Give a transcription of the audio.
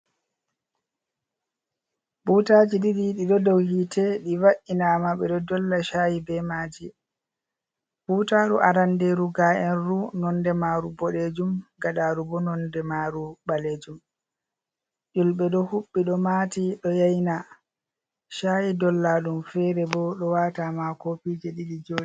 Butaji ɗiɗi ɗi do dow hite do va’inama ɓe ɗo dolla shayi be maji butaru aranderu ga’enru nonde maru boɗejum gaɗaru bo nonde maru ɓalejum yulɓe ɗo huɓɓi ɗo mati ɗo yaina shayi dolla ɗum fere bo ɗo wata ma kofije.